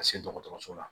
Ka se dɔgɔtɔrɔso la